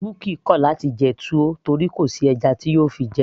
bukky kò láti jẹ túwó torí kò sí ẹja tí yóò fi jẹ ẹ́